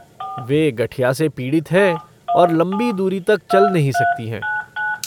वे गठिया से पीड़ित है और लंबी दूरी तक चल नहीं सकती हैं।